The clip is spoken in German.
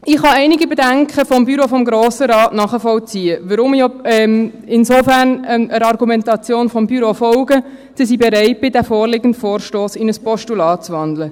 Ich kann einige der Bedenken des Büros des Grossen Rates nachvollziehen, weshalb ich insofern der Argumentation des Büros folge und bereit bin, den vorliegenden Vorstoss in ein Postulat zu wandeln.